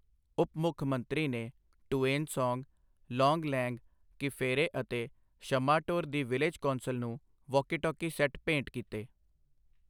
ਉੱਪ ਮੁੱਖਮੰਤਰੀ ਨੇ ਟੁਏਨਸਾਂਗ, ਲੋਂਗਲੈਂਗ, ਕਿਫੇਰੇ ਅਤੇ ਸ਼ੱਮਾਟੋਰ ਦੀ ਵਿਲੇਜ ਕੌਂਸਲ ਨੂੰ ਵਾਕੀਟਾਕੀ ਸੈੱਟ ਭੇਂਟ ਕੀਤੇ।